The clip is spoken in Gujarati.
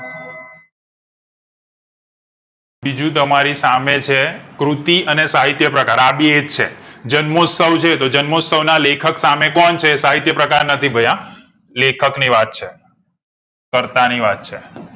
બીજું તમારી સામે છે કૃતિ અને સાહિત્યપ્રકાર આ બે ઇજ છે જન્મોત્સવ છે તો જન્મોત્સવ ના લેખક સામે કોણ છે સાહિત્યપ્રકાર નથી ભઈ લેખક નીવાત છે કરતા ની વાત છે